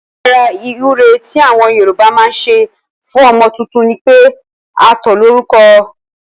Ọkàn lára ìwúre tí àwọn Yorùbá máa ń ṣe fún ọmọ tuntun ni pé a tó lórúko